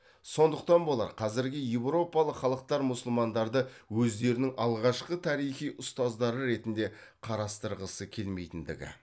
сондықтан болар қазіргі еуропалық халықтар мұсылмандарды өздерінің алғашқы тарихи ұстаздары ретінде қарастырғысы келмейтіндігі